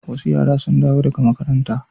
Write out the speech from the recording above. Wasu yara sun dawo daga makaranta.